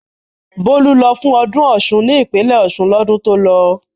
Bólú lọ fún ọdún Ọ̀ṣun ní ìpínlẹ̀ Ọ̀ṣun lọ́dún tó lọ.